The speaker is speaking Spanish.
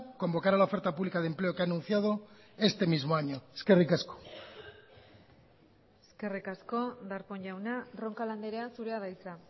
convocará la oferta pública de empleo que ha anunciado este mismo año eskerrik asko eskerrik asko darpón jauna roncal andrea zurea da hitza